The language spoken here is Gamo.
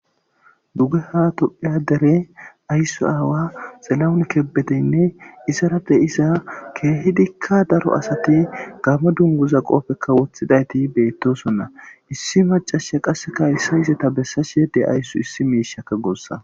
Dugeha dere asa ayso aawa xila'o kebedenne izara de'iza kehidika daro asati gamo dunguza mayidi gamo dunguza qopeka wothidayti betosona Issi macashiya haysa izeta besashe de'awus issi mishaka gusa